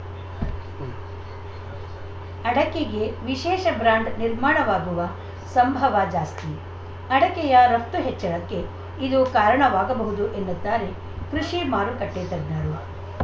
ಉಂ ಅಡಕೆಗೆ ವಿಶೇಷ ಬ್ರಾಂಡ್‌ ನಿರ್ಮಾಣವಾಗುವ ಸಂಭವ ಜಾಸ್ತಿ ಅಡಕೆಯ ರಫ್ತು ಹೆಚ್ಚಳಕ್ಕೆ ಇದು ಕಾರಣವಾಗಬಹುದು ಎನ್ನುತ್ತಾರೆ ಕೃಷಿ ಮಾರುಕಟ್ಟೆತಜ್ಞರು